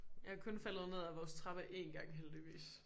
Jeg er kun faldet ned af vores trappe én gang heldigvis